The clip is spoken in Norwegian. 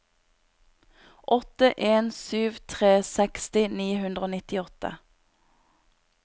åtte en sju tre seksti ni hundre og nittiåtte